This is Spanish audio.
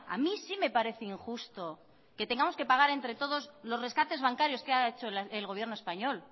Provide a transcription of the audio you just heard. a mí sí me parece injusto que tengamos que pagar entre todos los rescates bancarios que ha hecho el gobierno español